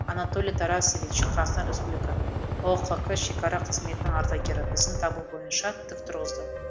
анатолий тарасевич қазақстан республика ұқк шекара қызметінің ардагері бізді дабыл бойынша тік тұрғызды